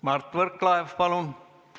Mart Võrklaev, palun!